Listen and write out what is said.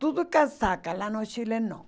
Tudo é casaca lá no Chile, não.